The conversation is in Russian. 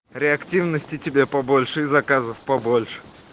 реактивности тебе побольше и заказов побольше